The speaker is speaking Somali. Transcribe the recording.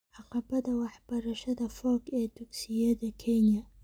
Caqabadda waxbarashada fog ee dugsiyada Kenya